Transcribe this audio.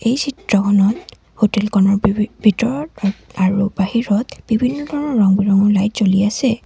এই চিত্ৰখনত হোটেলখনৰ ভি ভিতৰত আৰু বাহিৰত বিভিন্ন ধৰণৰ ৰঙ ৰঙ লাইট জ্বলি আছে।